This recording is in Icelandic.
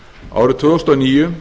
árið tvö þúsund